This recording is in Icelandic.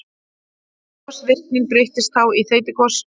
Gosvirknin breytist þá í þeytigos.